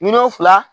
Miliyɔn fila